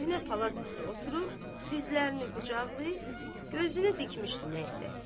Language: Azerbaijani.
Köhnə palaz üstə oturub, dizlərini qucaqlayıb, gözünü dikmişdi nəysə.